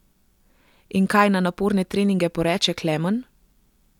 In kaj na naporne treninge poreče Klemen?